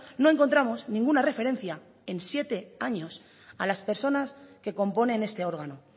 no encontramos ninguna referencia en siete años a las personas que componen este órgano